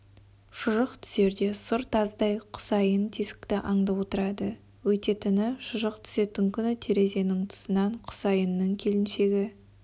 шұжық түсерде сұр тазыдай құсайын тесікті аңдып отырады өйтетіні шұжық түсетін күні терезенің тұсынан құсайынның келіншегі